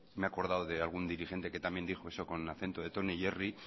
me he acordado de algún dirigente que también dijo eso con el acento de tom y jerry